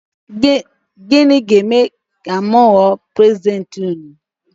Gịnị ga-eme ma m wụọ prezidenti ụnụ?